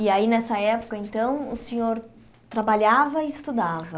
E aí, nessa época, então, o senhor trabalhava e estudava?